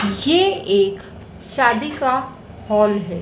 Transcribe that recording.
ये एक शादी का हॉल है।